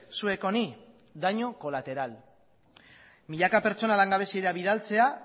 zuek honi daño colateral milaka pertsona langabeziara bidaltzera